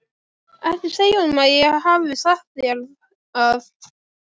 Ekki segja honum að ég hafi sagt þér það.